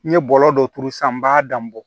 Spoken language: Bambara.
N ye bɔlɔ dɔ turu sisan n b'a dan bɔ